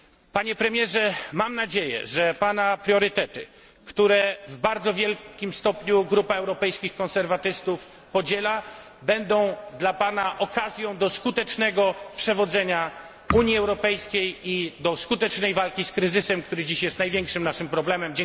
Panie premierze, mam nadzieję, że pana priorytety, które w bardzo wielkim stopniu Grupa Europejskich Konserwatystów podziela, będą dla pana okazją do skutecznego przewodzenia Unii Europejskiej i do skutecznej walki z kryzysem, który dziś jest największym naszym problemem.